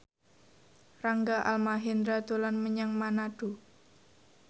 Rangga Almahendra dolan menyang Manado